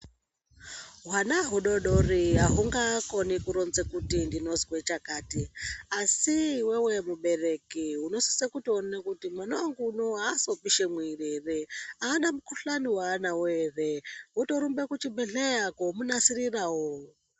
Hwanha hudodori ahungakoni kuronza kut ndinozwe chakati asi iwewe mubereki unosisa kuone kuti mwana wangu unou aasi kupishe muwiri ere, aana chakati ere, aana mukuhlani ere, wotorumba kuchibhehleya koomunasirirawo.